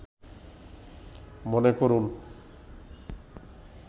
মনে করুন